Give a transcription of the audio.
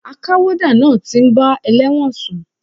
A ká wọ́dà náà ti ń bá elẹ́wọ̀n sùn.